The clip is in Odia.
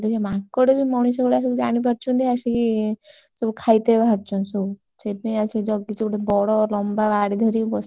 ସେ ମାଙ୍କଡବି ମଣିଷ ଭଳିଆ ସବୁ ଜାଣିପାରୁଛନ୍ତି, ଆସିକି ସବୁ ଖାଇତେ ବାହାରୁଛନ୍ତି ସବୁ ସେଇଥିପାଇଁ ଆସିକି ଜାଗିଛି, ଗୋଟେ ବଡ ଲମ୍ବା ବାଡି ଧରିକି ବସିଛି।